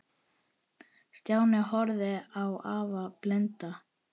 Stjáni horfði á afa blinda.